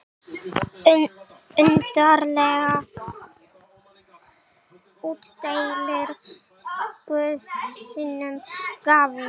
Undarlega útdeilir guð sínum gáfum.